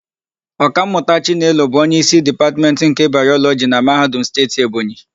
Ọkammụta Chinelo bụ onyeísí Dipatmentị nke Bayọlọjị na Mahadum Steeti Ebonyi.